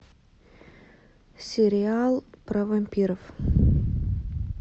сериал про вампиров